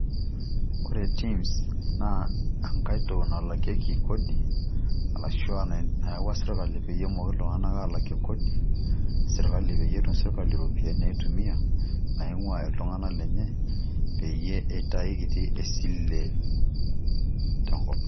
Ore Tims naa enkaito nalakieki kodi arashu ena nayau sirkali peyie emokini aalakie kodi e sirkali peyie etum sirkali iropiani naitumia naing'ua iltung'anak lenye peyie itai kiti esile tenkop.